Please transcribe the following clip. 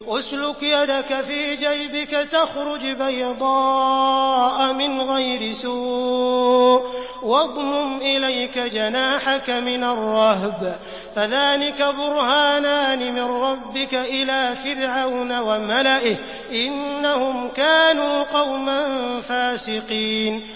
اسْلُكْ يَدَكَ فِي جَيْبِكَ تَخْرُجْ بَيْضَاءَ مِنْ غَيْرِ سُوءٍ وَاضْمُمْ إِلَيْكَ جَنَاحَكَ مِنَ الرَّهْبِ ۖ فَذَانِكَ بُرْهَانَانِ مِن رَّبِّكَ إِلَىٰ فِرْعَوْنَ وَمَلَئِهِ ۚ إِنَّهُمْ كَانُوا قَوْمًا فَاسِقِينَ